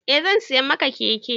Eh zan siya maka keke